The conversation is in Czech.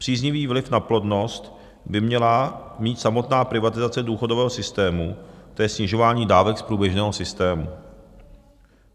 Příznivý vliv na plodnost by měla mít samotná privatizace důchodového systému, to je snižování dávek z průběžného systému.